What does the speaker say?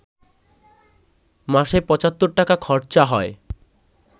মাসে পঁচাত্তর টাকা খরচা হয়